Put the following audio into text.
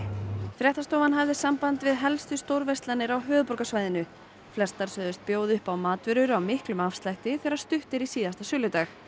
fréttastofan hafði samband við helstu stórverslanir á höfuðborgarsvæðinu flestar sögðust bjóða upp á matvörur á miklum afslætti þegar stutt er í síðasta söludag